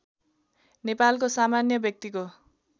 नेपालको सामान्य व्यक्तिको